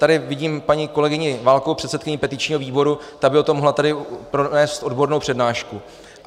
Tady vidím paní kolegyni Válkovou, předsedkyni petičního výboru, ta by o tom mohla tady pronést odbornou přednášku.